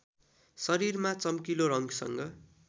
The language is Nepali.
शरीरमा चम्किलो रङ्गसँग